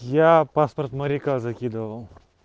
я паспорт моряка закидывал